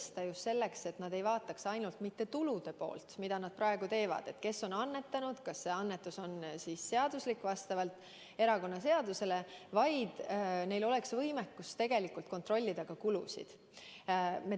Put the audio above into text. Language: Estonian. Seda just selleks, et nad ei vaataks mitte ainult tulude poolt, mida nad praegu teevad – kes on annetanud, kas see annetus on erakonnaseaduse kohaselt seaduslik –, vaid neil oleks võimekus kontrollida ka kulusid.